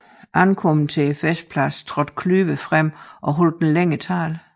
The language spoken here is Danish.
Ankommet til festpladsen trådte Klüver frem og holdt en længere tale